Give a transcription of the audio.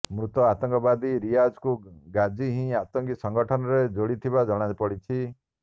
ମୃତ ଆତଙ୍କବାଦୀ ରିଆଜକୁ ଗାଜି ହିଁ ଆତଙ୍କୀ ସଂଗଠନରେ ଯୋଡ଼ିଥିବା ଜଣାପଡ଼ିଛି